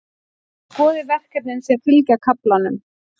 Skoðið verkefnin sem fylgja kaflanum.